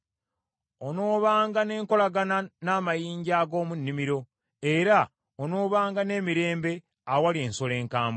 Onoobanga n’enkolagana n’amayinja ag’omu nnimiro, era onoobanga n’emirembe awali ensolo enkambwe.